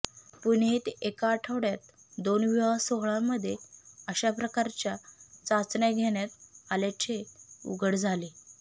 पुणे येथेे एका आठवड्यात दोन विवाह सोहळ्यांमध्ये अशा प्रकारच्या चाचण्या घेण्यात आल्याचे उघड झाले